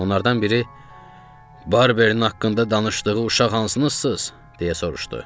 Onlardan biri, "Barbernin haqqında danışdığı uşaq hansınızsınız?" deyə soruşdu.